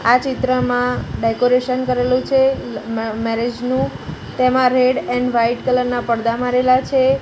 આ ચિત્રમાં ડેકોરેશન કરેલુ છે મ-મેરેજ નુ તેમા રેડ એન્ડ વ્હાઇટ કલર ના પડદા મરેલા છે.